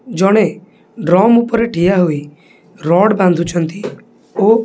ଜଣେ ଡ୍ରମ୍ ଉପରେ ଠିଆ ହୋଇ ରଡ୍ ବାନ୍ଧିଛନ୍ତି ଓ--